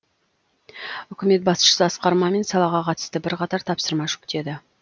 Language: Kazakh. үкімет басшысы асқар мамин салаға қатысты бірқатар тапсырма жүктеді